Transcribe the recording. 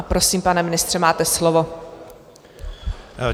A prosím, pane ministře, máte slovo.